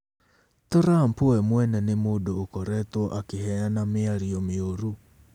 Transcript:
Trump we mwene nĩ mũndũ ũkoretwo akĩheana mĩario mĩũru.